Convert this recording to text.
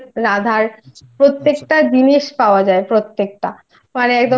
মানে কৃষ্ণের রাধার প্রত্যেকটা জিনিস পাওয়া যায়